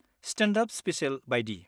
Stand-up special बायदि।